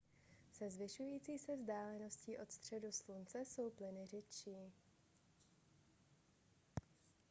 se zvyšující se vzdáleností od středu slunce jsou plyny řidší